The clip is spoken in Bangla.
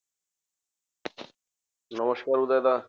নমস্কার উদয় দা।